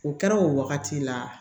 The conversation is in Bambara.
O kɛra o wagati la